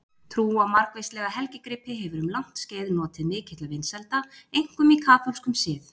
Trú á margvíslega helgigripi hefur um langt skeið notið mikilla vinsælda, einkum í kaþólskum sið.